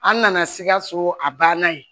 An nana sikaso a banna yen